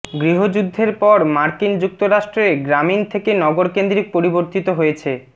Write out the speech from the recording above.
গৃহযুদ্ধের পর মার্কিন যুক্তরাষ্ট্রে গ্রামীণ থেকে নগর কেন্দ্রিক পরিবর্তিত হয়েছে